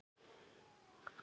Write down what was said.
Þá vil ég vera með.